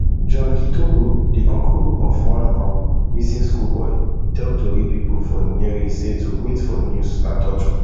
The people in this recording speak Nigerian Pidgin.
john githogo di uncle of one um missing schoolboy tell tori pipo for nyeri say to wait for news na torture